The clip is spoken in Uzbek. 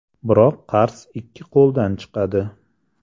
Biroq qars ikki qo‘ldan chiqadi.